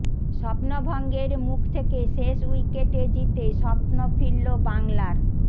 স্বপ্নভঙ্গের মুখ থেকে শেষ উইকেটে জিতে স্বপ্ন ফিরল বাংলার